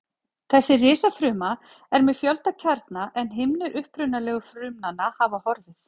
Þessi risafruma er með fjölda kjarna en himnur upprunalegu frumnanna hafa horfið.